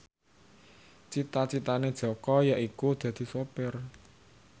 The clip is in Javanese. cita citane Jaka yaiku dadi sopir